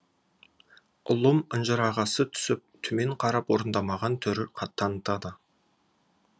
ұлым ынжырағасы түсіп төмен қарап орындамаған түр танытады